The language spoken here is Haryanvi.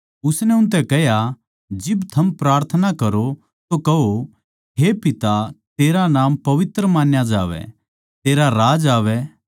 उसनै उनतै कह्या जिब थम प्रार्थना करो तो कहो हे पिता तेरा नाम पवित्र मान्या जावै तेरा राज्य आवै